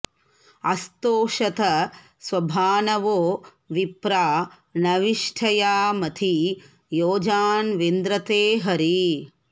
अस्तोषत स्वभानवो विप्रा नविष्ठया मती योजा न्विन्द्र ते हरी